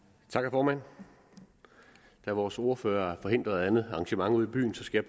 formand da vores ordfører er forhindret af et andet arrangement ude i byen skal